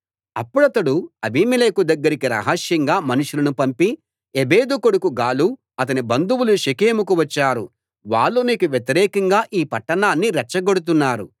అప్పుడతడు అబీమెలెకు దగ్గరికి రహస్యంగా మనుషులను పంపి ఎబెదు కొడుకు గాలు అతని బంధువులు షెకెముకు వచ్చారు వాళ్ళు నీకు వ్యతిరేకంగా ఈ పట్టణాన్ని రెచ్చగొడుతున్నారు